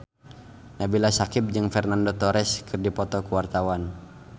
Nabila Syakieb jeung Fernando Torres keur dipoto ku wartawan